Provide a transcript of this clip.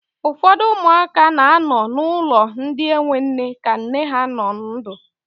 Ụfọdụ ụmụaka na anọ n'ulọ ndị enwe nne ka nne ha nọ ndụ.